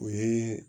O ye